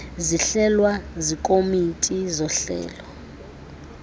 zihlelwa zikomiti zohlelo